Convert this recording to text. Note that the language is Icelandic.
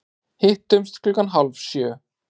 Hittumst klukkan hálf sjö.